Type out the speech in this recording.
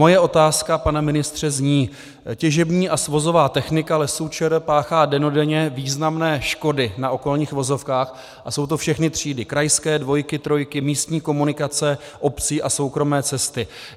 Moje otázka, pane ministře, zní: Těžební a svozová technika Lesů ČR páchá dennodenně významné škody na okolních vozovkách a jsou to všechny třídy - krajské, dvojky, trojky, místní komunikace obcí a soukromé cesty.